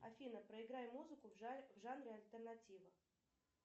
афина проиграй музыку в жанре альтернатива